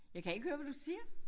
Jeg kan ikke høre hvad du siger